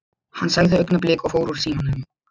Hann sagði augnablik og fór úr símanum.